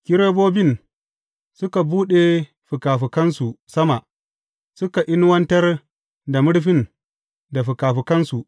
Kerubobin suka buɗe fikafikansu sama, suka inuwatar da murfin da fikafikansu.